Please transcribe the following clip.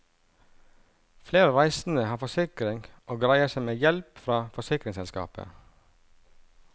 Flere reisende har forsikring og greier seg med hjelp fra forsikringsselskapet.